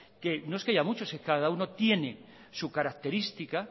no es que haya muchos es que cada uno tiene su característica